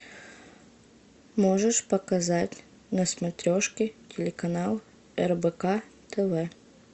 можешь показать на смотрешке телеканал рбк тв